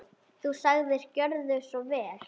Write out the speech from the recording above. Þú sagðir: Gjörðu svo vel.